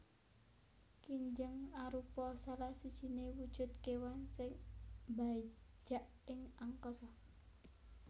Kinjeng arupa salah sijiné wujud kéwan sing mbajak ing angkasa